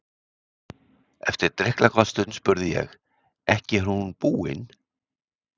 Eftir drykklanga stund spurði ég: Ekki er hún búin?